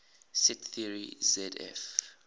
set theory zf